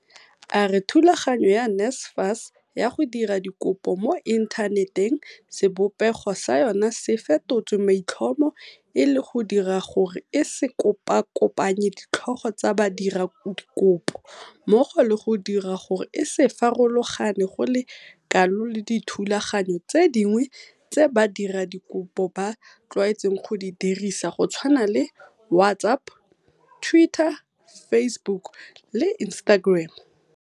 A re thulaganyo ya NSFAS ya go dira dikopo mo inthaneteng sebopego sa yona se fetotswe maitlhomo e le go dira gore e se kopakopanye ditlhogo tsa badiradikopo mmogo le go dira gore e se farologane go le kalo le dithulaganyo tse dingwe tse badiradikopo ba tlwaetseng go di dirisa go tshwana le WhatsApp, Twitter, Facebook le Instagram.